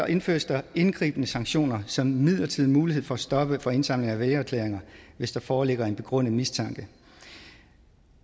indføres der indgribende sanktioner som en midlertidig mulighed for at stoppe for indsamling af vælgererklæringer hvis der foreligger en begrundet mistanke i